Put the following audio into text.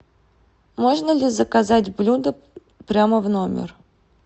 можно ли заказать блюдо прямо в номер